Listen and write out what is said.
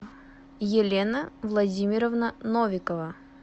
елена владимировна новикова